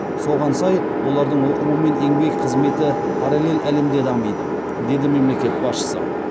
соған сай олардың оқуы мен еңбек қызметі параллель әлемде дамиды деді мемлекет басшысы